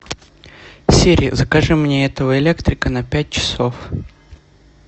сири закажи мне этого электрика на пять часов